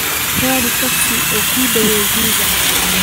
raadi tagsi ugu dow gurika